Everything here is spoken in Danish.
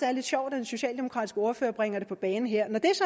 er lidt sjovt at en socialdemokratisk ordfører bringer det på banen her når det